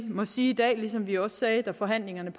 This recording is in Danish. må sige som vi også sagde da forhandlingerne